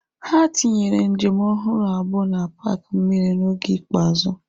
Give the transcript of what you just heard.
Ha tinyere njem ọhụrụ abụọ na paaki mmiri n'oge ikpeazụ.